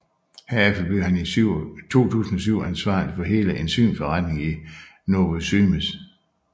Herefter blev han i 2007 ansvarlig for hele enzymforretningen i Novozymes